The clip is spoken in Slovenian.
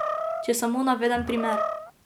Če samo navedem primer.